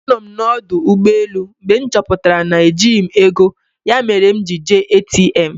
Anọ m na ọdụ ụgbọelụ mgbe m chọpụtara na ejighị m ego ya mere m ji jee ATM